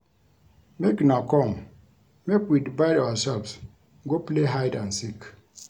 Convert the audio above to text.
Make una come make we divide ourselves go play hide and seek